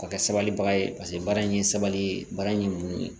K'a kɛ sabalibaga ye paseke baara in ye sabali ye baara in